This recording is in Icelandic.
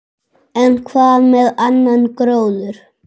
En hvað með annan gróður?